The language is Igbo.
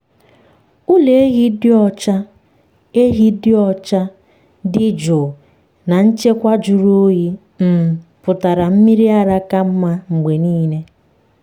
ụlọ ehi dị ọcha ehi ọcha ehi dị jụụ na nchekwa jụrụ oyi um pụtara mmiri ara ka mma mgbe niile.